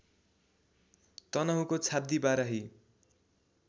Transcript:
तनहुँको Chhabdi Barahi